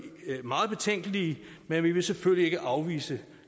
meget betænkelige men vi vil selvfølgelig ikke afvise